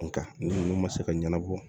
Nka ninnu ma se ka ɲɛnabɔ